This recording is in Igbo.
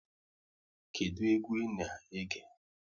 Kedụ egwu ị na-ege?